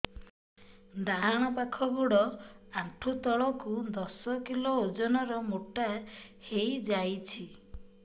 ଡାହାଣ ପାଖ ଗୋଡ଼ ଆଣ୍ଠୁ ତଳକୁ ଦଶ କିଲ ଓଜନ ର ମୋଟା ହେଇଯାଇଛି